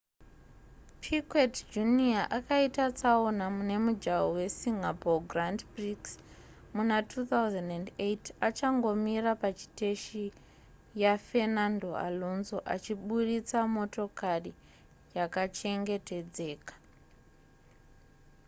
piquet jr akaita tsaona mune mujaho we singapore grand prix muna2008 achangomira pachiteshi yafernando alonso achiburitsa motokari yakachengetedzeka